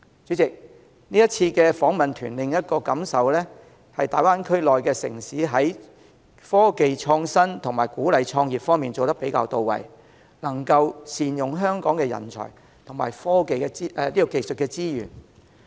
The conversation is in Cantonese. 主席，這次訪問團的另一感受是，大灣區內的城市在科技創新及鼓勵創業方面做得比較"到位"，能夠善用香港的人才及技術資源。